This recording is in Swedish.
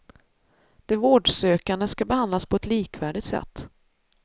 De vårdsökande ska behandlas på ett likvärdigt sätt.